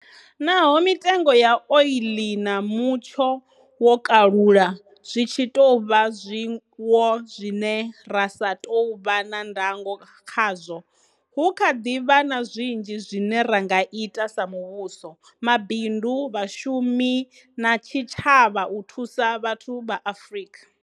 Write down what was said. Naho mitengo ya oiḽi na mutsho wo kalulaho zwi tshi tou vha zwiwo zwine ra sa tou vha na ndango khazwo, hu kha ḓi vha na zwinzhi zwine ra nga ita sa muvhuso, mabindu, vhashumi na tshitshavha u thusa vhathu vha Afrika.